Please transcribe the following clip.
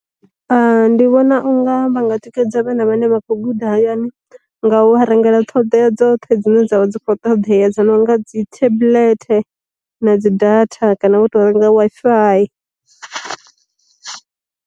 Ndi vhona unga vhanga tikedza vhana vhane vha khou guda hayani nga u a rengela ṱhoḓea dzoṱhe dzine dzavha dzi kho ṱoḓea dzi no nga dzi tablethe na dzi data kana vho to renga Wi-Fi.